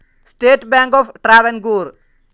state bank of Travancore